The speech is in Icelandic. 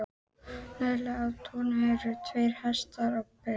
Neðarlega á túninu voru tveir hestar á beit.